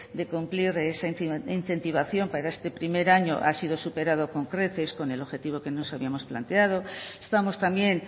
de cumplir esa incentivación para este primer año ha sido superado con creces con el objetivo que nos habíamos planteado estamos también